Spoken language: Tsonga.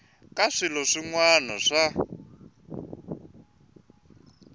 ka swilo swin wana swa